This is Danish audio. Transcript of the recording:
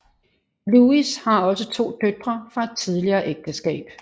Lewis har også to døtre fra et tidligere ægteskab